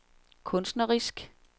kunstnerisk